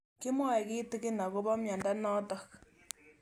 Kimwae kitig'in akopo miondo notok